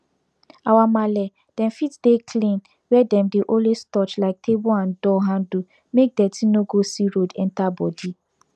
our marle dem fit dey clean where dem dey always touch like table and door handle make deti no go see road enter body